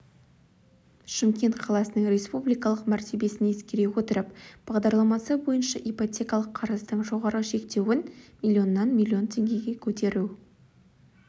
шымкент қаласының республикалық мәртебесін ескере отырып бағдарламасы бойынша ипотекалық қарыздың жоғарғы шектеуін миллионнан миллион теңгеге көтеру